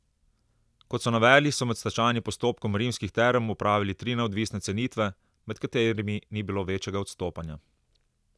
Kot so navedli, so med stečajnim postopkom Rimskih term opravili tri neodvisne cenitve, med katerimi ni bilo večjega odstopanja.